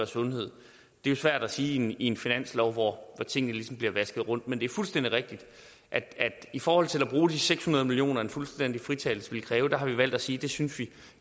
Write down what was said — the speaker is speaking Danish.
sundhed det er svært at sige i en finanslov hvor tingene ligesom bliver vasket rundt men det er fuldstændig rigtigt at i forhold til at bruge de seks hundrede million kr som en fuldstændig fritagelse ville kræve har vi valgt at sige at det syntes vi